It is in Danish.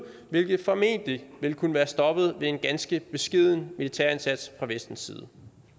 hvilket formentlig ville kunne være stoppet med en ganske beskeden militær indsats fra vestens side